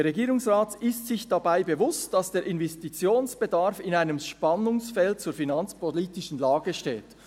Der Regierungsrat] ist sich dabei bewusst, dass der Investitionsbedarf in einem Spannungsfeld zur finanzpolitischen Lage steht.